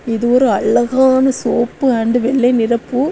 இது ஒரு அழகான சிவப்பு அன்டு வெள்ளை நிறம்.